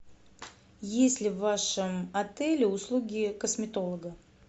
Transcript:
есть ли в вашем отеле услуги косметолога